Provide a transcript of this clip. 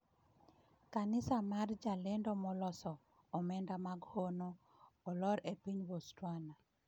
Kanisa mar jalendo maloso ‘omenda mag hono’ olor e piny Botswana